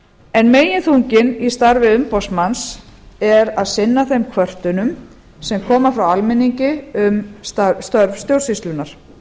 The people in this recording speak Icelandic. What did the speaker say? en meginþunginn í starfi umboðsmanns er að sinna þeim kvörtunum sem koma frá alþingi um starf stjórnsýslunnar